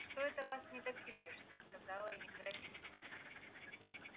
что это вас не докличешься сказала им графиня